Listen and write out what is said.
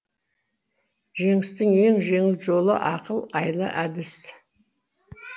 жеңістің ең жеңіл жолы ақыл айла әдіс